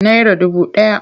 Naira dubu ɗaya.